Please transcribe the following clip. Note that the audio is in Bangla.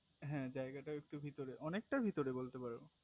হে জায়গাটা একটুক ভিতরে অনেকটা অনেকটা ভিতরে বলতে পারো